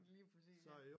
Lige præcis ja